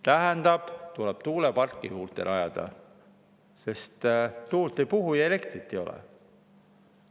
Tähendab, tuleb tuuleparke juurde rajada, sest tuul ei puhu ja elektrit ei ole.